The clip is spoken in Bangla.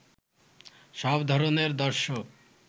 সব ধরণের দর্শক